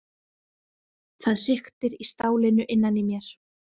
Það hriktir í stálinu innan í mér.